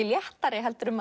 léttari en